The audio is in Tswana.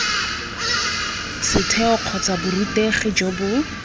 setheo kgotsa borutegi jo bo